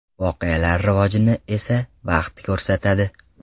Voqealar rivojini esa vaqt ko‘rsatadi.